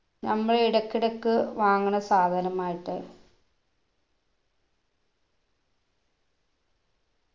നമ്മൾ ഇടക്കിടക്ക് വാങ്ങുന്ന സാധനമായിട്ട്